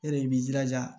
E de b'i jilaja